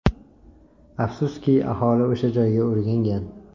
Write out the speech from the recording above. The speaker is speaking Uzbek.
Afsuski, aholi o‘sha joyga o‘rgangan.